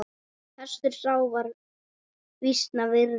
Hestur sá var vísna virði.